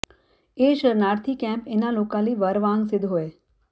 ਇਹ ਸ਼ਰਨਾਰਥੀ ਕੈਂਪ ਇਨ੍ਹਾਂ ਲੋਕਾਂ ਲਈ ਵਰ ਵਾਂਗ ਸਿੱਧ ਹੋਏ